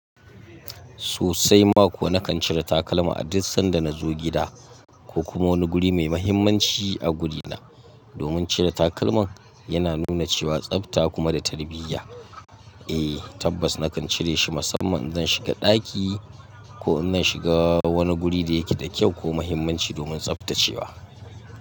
Sosai ma kuwa na kan cire takalma a duk sanda na zo gida ko kuma wani guri mai muhimmanci a gurina. Domin cire takalman yana nuna cewa tsafta kuma da tarbiyya. Eh tabbas na kan cire shi musamman zan shiga ɗaki ko ina shiga wani guri da yake da kyau ko muhimmanci domin tsaftacewa.